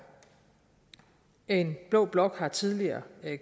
en blå blok har tidligere